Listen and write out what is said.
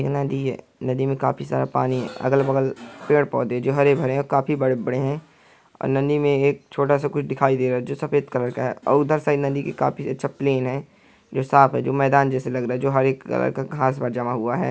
ये नदी हैं नदी में काफी सारा पानी हैं अगल-बगल पेड़-पौधे जो हरे-भरे हैं काफी बड़े-बड़े हैं और नदी में एक छोटा सा कुछ दिखाई दे रहा है जो सफेद कलर का हैं और उधर सारी नदी के काफी अच्छा प्लेन हैं जो साफ हैं जो मैदान जैसा लग रहा है जो हरे कलर का घास जमा हुआ है।